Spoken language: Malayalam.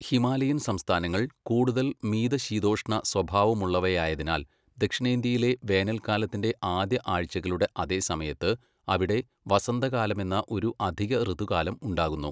ഹിമാലയൻ സംസ്ഥാനങ്ങൾ കൂടുതൽ മിതശീതോഷ്ണ സ്വഭാവമുള്ളവയായതിനാൽ ദക്ഷിണേന്ത്യയിലെ വേനൽക്കാലത്തിൻ്റെ ആദ്യ ആഴ്ചകളുടെ അതേസമയത്ത് അവിടെ വസന്തകാലമെന്ന ഒരു അധിക ഋതുകാലം ഉണ്ടാകുന്നു.